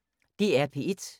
DR P1